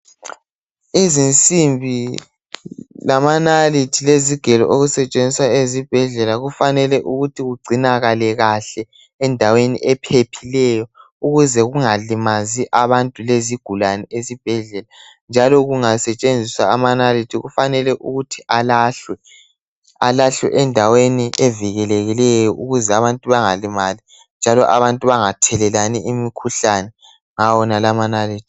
izinsimbi lamanalithi lezigelo okusetshenziswa ezibhedlela kufanele ukuthi kugcinakale kahle endaweni ephephileyo ukuze kungalimazi abantu lezigulane ezibhedlela njalo kungasetshenziswa amanalithi kufanele ukuthi alahlwe alahlwe endaweni evikelekileyo ukuze abantu bangalimali njalo abantu bangathelelani imikhuhlane ngawo wonala amanalithi